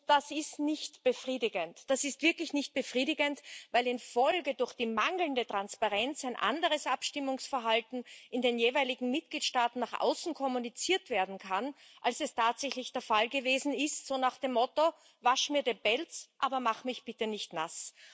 Das ist nicht befriedigend. Das ist wirklich nicht befriedigend, weil in der Folge durch die mangelnde Transparenz ein anderes Abstimmungsverhalten in den jeweiligen Mitgliedstaaten nach außen kommuniziert werden kann, als es tatsächlich der Fall gewesen ist, so nach dem Motto Wasch mir den Pelz, aber mach mich bitte nicht nass.